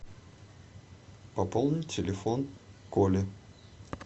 пополнить телефон коли